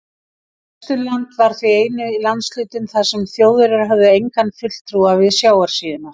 Vesturland var því eini landshlutinn, þar sem Þjóðverjar höfðu engan fulltrúa við sjávarsíðuna.